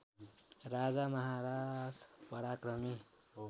राजा महारथ पराक्रमी